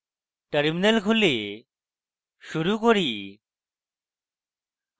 terminal খুলে শুরু করি